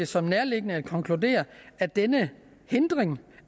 som nærliggende at konkludere at denne hindring